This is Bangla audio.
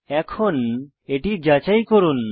এখন এটি যাচাই করুন